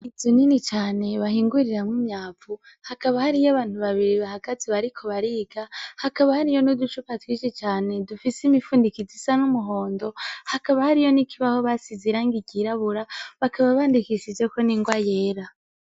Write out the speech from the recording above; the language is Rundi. Izo nini cane bahingurira mu myavu hakaba hariyo abantu babiri bahagazi bariko bariga hakaba hariyo niuducupa twisi cane dufise imifundikizi isa n'umuhondo hakaba hariyo n'ikibaho basiz irangigirabura bakaba bandikishijeko ningoa yera.